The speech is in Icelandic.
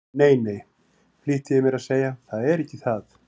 Nei, nei, flýtti ég mér að segja, það er ekki það.